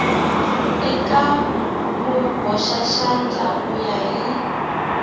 eka muhoxaxandla ku ya hi